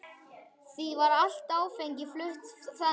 Því var allt áfengi flutt þannig.